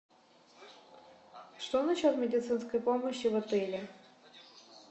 что насчет медицинской помощи в отеле